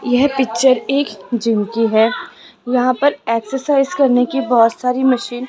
यह पिक्चर एक जिम की है यहां पर एक्सरसाइज करने की बहोत सारी मशीन --